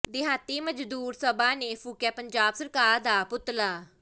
ਦਿਹਾਤੀ ਮਜ਼ਦੂਰ ਸਭਾ ਨੇ ਫੂਕਿਆ ਪੰਜਾਬ ਸਰਕਾਰ ਦਾ ਪੁਤਲਾ